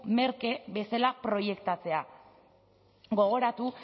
merke bezala proiektatzea gogoratu